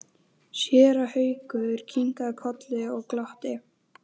Séra Haukur kinkaði kolli og glotti.